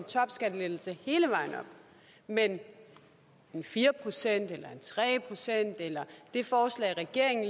topskattelettelse hele vejen op men fire procent eller tre procent eller det forslag regeringen